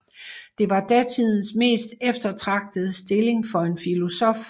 Det var datidens mest eftertragtede stilling for en filosof